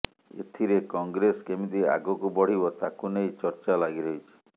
ଏଥିରେ କଂଗ୍ରେସ କେମିତି ଆଗକୁ ବଢ଼ିବ ତାକୁ ନେଇ ଚର୍ଚ୍ଚା ଲାଗି ରହିଛି